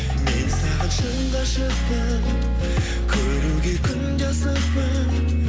мен саған шын ғашықпын көруге күнде асықпын